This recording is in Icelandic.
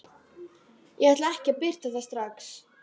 Ég ætla ekki að birta það strax.